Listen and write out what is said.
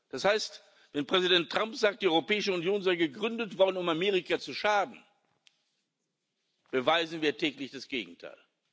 Das heißt, wenn Präsident Trump sagt, die Europäische Union sei gegründet worden, um Amerika zu schaden, beweisen wir täglich das Gegenteil.